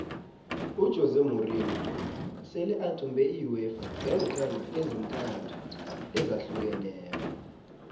ujose morinho sele athumbe iuefa ngeenqhema ezintathu ezahlukeneko